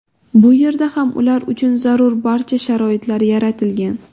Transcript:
Bu yerda ham ular uchun zarur barcha sharoitlar yaratilgan.